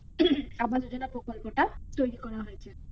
আবাস যোজনা প্রকল্পটা তৈরি করা হয়েছে